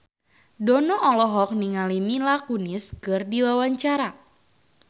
Dono olohok ningali Mila Kunis keur diwawancara